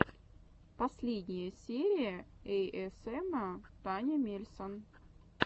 последняя серия эйэсэма таня мельсон